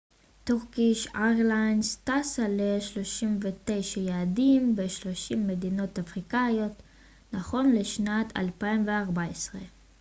טורקיש איירליינס טסה ל-39 יעדים ב-30 מדינות אפריקאיות נכון לשנת 2014